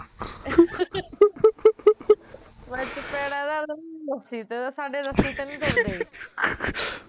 ਮੈਂ ਚਪੇੜਾਂ ਲਾਦੂ, ਰੱਸੀ ਤੇ ਦਾ, ਸਾਡੇ ਰੱਸੀ ਤੇ ਨੀ ਤੁਰਦੇ